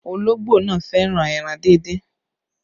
Ologbo náà fẹ́ràn ẹran díndín